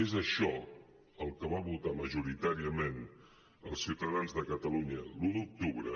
és això el que van votar majoritàriament els ciutadans de catalunya l’un d’octubre